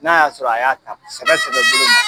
N'a y'a sɔrɔ a y'a ta sɛbɛ sɛbɛ boloma